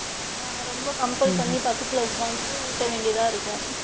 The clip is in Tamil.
நாங்க ரொம்ப comple பண்ணி பக்கத்துல உட்காந்து ஊட்ட வேண்டியதா இருக்கும்.